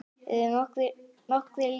Eru nokkrir lyklar hérna?